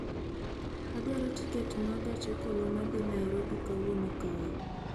Adwaro tiket ma gach okoloma dhi nairobi kowuok kae